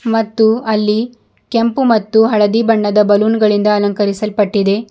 ಮತ್ತು ಅಲ್ಲಿ ಕೆಂಪು ಮತ್ತು ಹಳದಿ ಬಣ್ಣದ ಬಲೂನ್ ಗಳಿಂದ ಅಲಂಕರಿಸಲ್ಪಟ್ಟಿದೆ.